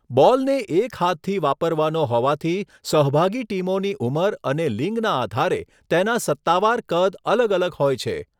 બૉલને એક હાથથી વાપરવાનો હોવાથી, સહભાગી ટીમોની ઉંમર અને લિંગના આધારે તેના સત્તાવાર કદ અલગ અલગ હોય છે.